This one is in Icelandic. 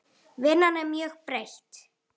Vinnan er mjög breytt.